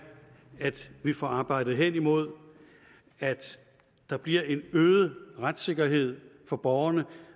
at vi får arbejdet hen imod at der bliver en øget retssikkerhed for borgerne